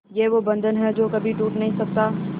ये वो बंधन है जो कभी टूट नही सकता